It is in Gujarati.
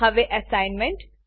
હવે એસાઈનમેંટ